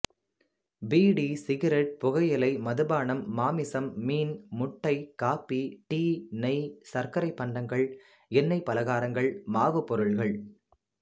PT cigarette புகையிலை மதுபானம் மாமிசம் மீன் முட்டை காப்பி டீ நெய் சர்க்கரைபண்டங்கள் எண்ணெய் பலகாரங்கள் மாவு பொருள்கள்